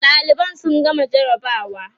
ɗaliban sun gama jarabawa